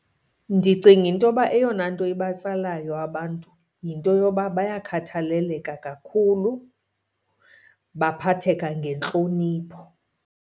Ndicinga into yoba eyona nto ibatsalayo abantu yinto yoba bayakhathaleleka kakhulu, baphatheka ngentlonipho.